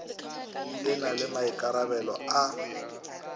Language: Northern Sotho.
e na le maikarabelo a